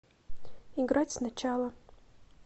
играть сначала